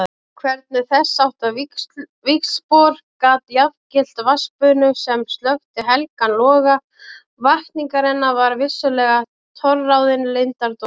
Hvernig þessháttar víxlspor gat jafngilt vatnsbunu sem slökkti helgan loga vakningarinnar var vissulega torráðinn leyndardómur.